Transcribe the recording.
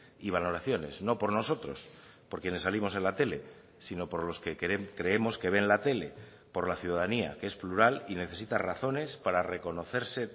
y valoraciones no por nosotros por quienes salimos en la tele sino por los que creemos que ven la tele por la ciudadanía que es plural y necesita razones para reconocerse